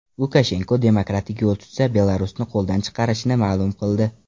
Lukashenko demokratik yo‘l tutsa, Belarusni qo‘ldan chiqarishini ma’lum qildi.